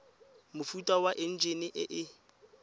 mofuta wa enjine e e